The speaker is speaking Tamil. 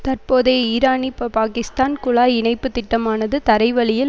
தற்போதைய ஈரானிபபாகிஸ்தான் குழாய் இணைப்பு திட்டமானது தரைவழியில்